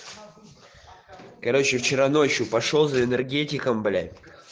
короче вчера ночью пошёл за энергетиком блять